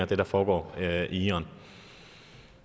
det der foregår i iran